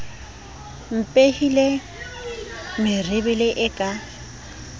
mpehile merebele e le ka